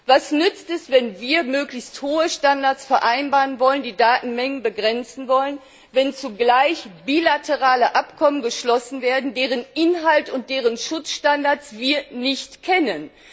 Was nützt es, wenn wir möglichst hohe Standards vereinbaren und die Datenmengen begrenzen wollen, wenn zugleich bilaterale Abkommen geschlossen werden, deren Inhalt und deren Schutzstandards wir nicht kennen.